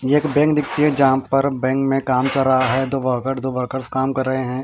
एक बैंक दिखती है जहां पर बैंक में काम कर रहा है दो वर्कर दो वर्कर्स कम कर रहे हैं।